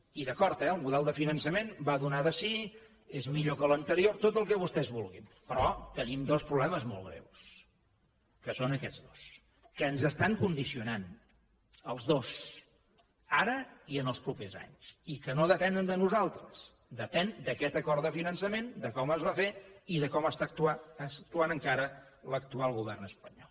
i d’acord eh el model de fiançament va donar de si és millor que l’anterior tot el que vostès vulguin però tenim dos problemes molt greus que són aquests dos que ens estan condicionant els dos ara i en els propers anys i que no depenen de nosaltres depenen d’aquest acord de finançament de com es va fer i de com està actuant encara l’actual govern espanyol